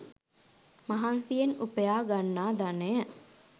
මහන්සියෙන් උපයා ගන්නා ධනය